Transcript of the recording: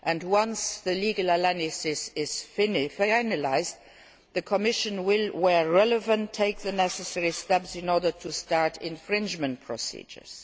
Once the legal analysis is finalised, the Commission will, where relevant, take the necessary steps in order to start infringement procedures.